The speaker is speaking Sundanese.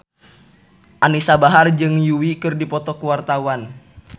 Anisa Bahar jeung Yui keur dipoto ku wartawan